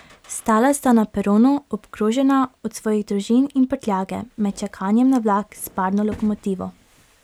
Stala sta na peronu, obkrožena od svojih družin in prtljage, med čakanjem na vlak s parno lokomotivo.